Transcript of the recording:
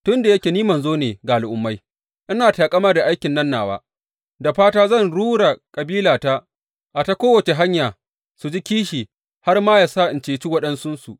Tun da yake ni manzo ne ga Al’ummai, ina taƙama da aikin nan nawa, da fata zan rura kabilata a ta kowace hanya su ji kishi har ma yă sa in ceci waɗansunsu.